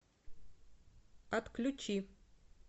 отключи